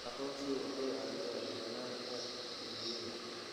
Aqoonsigu wuxuu caawiyaa la dagaallanka dembiyada.